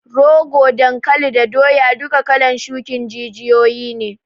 Rogo, dankali da doya duka kalan shukin jijiyoyi ne